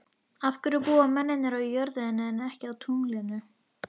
Af hverju búa mennirnir á jörðinni en ekki á tunglinu?